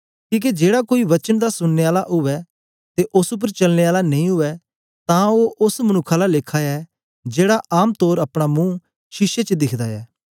किके जेड़ा कोई वचन दा सुननें आला उवै ते ओस उपर चलने आला नेई उवै तां ओ ओस मनुक्ख आला लेखा ऐ जेड़ा आम तोर अपना मुंह शीशे च दिखदा ऐ